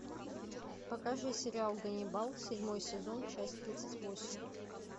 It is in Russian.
покажи сериал ганнибал седьмой сезон часть тридцать восемь